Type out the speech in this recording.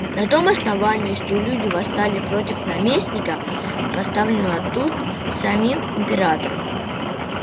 на том основании что люди восстали против наместника поставленного тут самим императором